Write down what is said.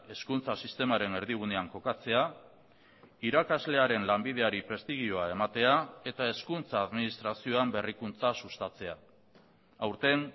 hezkuntza sistemaren erdigunean kokatzea irakaslearen lanbideari prestigioa ematea eta hezkuntza administrazioan berrikuntza sustatzea aurten